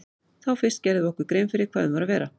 Þá fyrst gerðum við okkur grein fyrir hvað um var að vera.